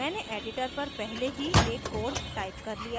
मैंने editor पर पहले ही एक code टाइप कर लिया है